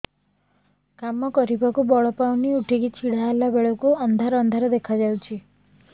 କାମ କରିବାକୁ ବଳ ପାଉନି ଉଠିକି ଛିଡା ହେଲା ବେଳକୁ ଅନ୍ଧାର ଅନ୍ଧାର ଦେଖା ଯାଉଛି